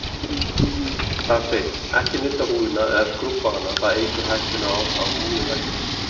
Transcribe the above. Þar segir: Ekki nudda húðina, eða skrúbba hana, það eykur hættuna á að húðin versni.